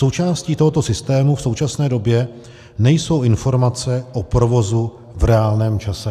Součástí tohoto systému v současné době nejsou informace o provozu v reálném čase.